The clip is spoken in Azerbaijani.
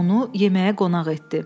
Onu yeməyə qonaq etdi.